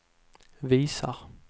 visar